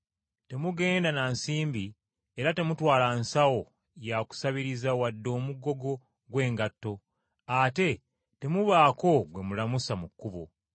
Temugenda na nsimbi era temutwala nsawo ya kusabiriza wadde omugogo gw’engatto, ate temubaako gwe mulamusa mu kkubo.